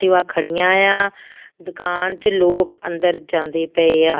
ਤੇ ਆਹ ਖੜੀਆਂ ਆ ਦੁਕਾਨ ਚ ਲੋਕ ਅੰਦਰ ਜਾਂਦੇ ਪਏ ਆ।